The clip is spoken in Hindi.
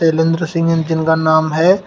शैलेंद्र सिंह जिनका नाम है।